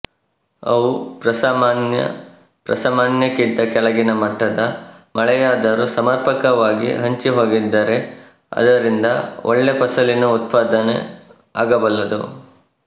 ಅವು ಪ್ರಸಾಮಾನ್ಯ ಪ್ರಸಾಮಾನ್ಯಕ್ಕಿಂತ ಕೆಳಗಿನ ಮಟ್ಟದ ಮಳೆಯಾದರೂ ಸಮರ್ಪಕವಾಗಿ ಹಂಚಿಹೋಗಿದ್ದರೆ ಅದರಿಂದ ಒಳ್ಳೆ ಫಸಲಿನ ಉತ್ಪಾದನೆ ಆಗಬಲ್ಲದು